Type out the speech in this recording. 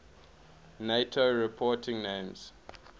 nato reporting names